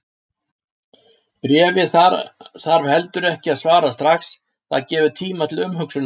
Bréfi þarf heldur ekki að svara strax, það gefur tíma til umhugsunar.